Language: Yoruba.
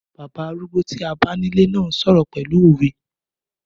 Bàbá arúgbó tí a bá ní ilé náà ń sọ̀rọ̀ pẹ̀lú òwe